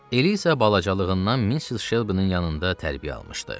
Eliza isə balacalığından Mrs. Shelby-nin yanında tərbiyə almışdı.